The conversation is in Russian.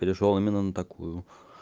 перешёл именно на такую